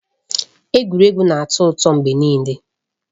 Egwuregwu na-atọ ụtọ mgbe niile.